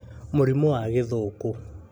Mũrimũ wa Gĩthũkũ: